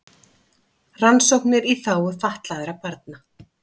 Rannsóknir í þágu fatlaðra barna